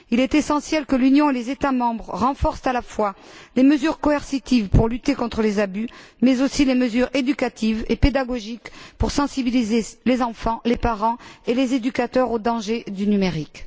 Il est essentiel que l'Union et les États membres renforcent à la fois les mesures coercitives pour lutter contre les abus, mais aussi les mesures éducatives et pédagogiques pour sensibiliser les enfants, les parents et les éducateurs aux dangers du numérique.